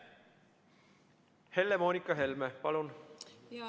Helle-Moonika Helme, palun!